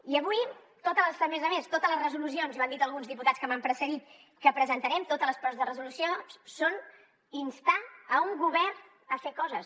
i avui a més a més totes les resolucions i ho han dit alguns diputats que m’han precedit que presentarem totes les propostes de resolució són instar un govern a fer coses